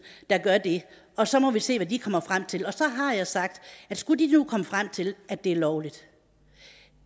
der gør det og så må vi se hvad de kommer frem til så har jeg sagt at skulle de nu komme frem til at det er lovligt